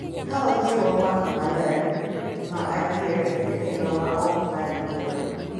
Ka wajiwo mbaka maler, ma adier kendo ma ok ng’ad bura,